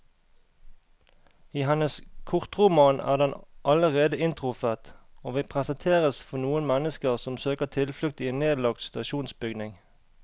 I hennes kortroman er den allerede inntruffet, og vi presenteres for noen mennesker som søker tilflukt i en nedlagt stasjonsbygning.